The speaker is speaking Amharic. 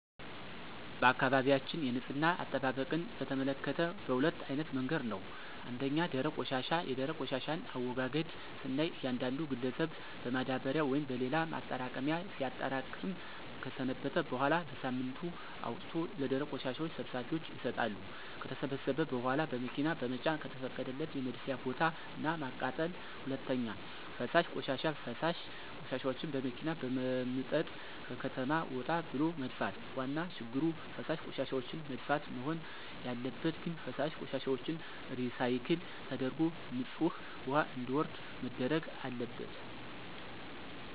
በአካባቢያችን የንፅህና አጠባበቅን በተመከተ በሁለት አይነት መንገድ ነው። ፩) ደረቅ ቆሻሻ፦ የደረቅ ቆሻሻን አወጋገድ ስናይ እያንዳንዱ ግለሰብን በማዳበሪያ ወይም በሌላ ማጠራቀሚያ ሲያጠራቅም ከሰነበተ በኋላ በሳምንቱ አውጥቶ ለደረቅ ቆሻሻ ሰብሳቢዎች ይሰጣሉ። ከተሰበሰበ በኋላ በመኪና በመጫን ከተፈቀደለት የመድፊያ ቦታ እና ማቃጠል። ፪) ፈሳሽ ቆሻሻ፦ ፈሳሽ ቆሻሻዎችን በመኪና በመምጠጥ ከከተማ ወጣ ብሎ መድፋት። ዋና ችግሩ ፈሳሽ ቆሻሻዎችን መድፋት? መሆን ያለበት ግን ፈሳሽ ቆሻሻዎችን ሪሳይክል ተደርጎ ንፅህ ውሀ እንዲወርድ መደረግ አለበት።